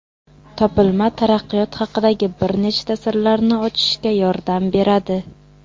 Topilma taraqqiyot haqidagi bir nechta sirlarni ochishga yordam beradi.